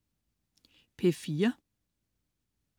P4: